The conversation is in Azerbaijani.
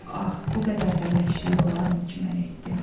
Ah, bu qədər də vəhşilik olarmı ki, mən etdim?